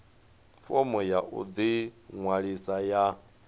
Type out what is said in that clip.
fomo ya u ḓiṅwalisa ya